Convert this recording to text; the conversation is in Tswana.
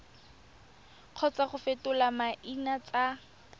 kgotsa go fetola maina tsa